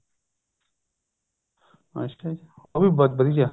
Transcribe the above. ਅੱਛਿਆ ਜੀ ਉਹ ਵੀ ਵਧੀਆ